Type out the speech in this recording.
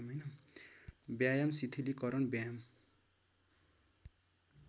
व्यायाम शिथिलीकरण व्यायाम